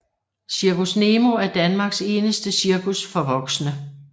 Zirkus Nemo er Danmarks eneste cirkus for voksne